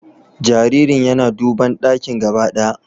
Jaririn yana duban dakin gaba ɗaya